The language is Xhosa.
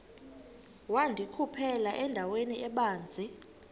wandikhuphela endaweni ebanzi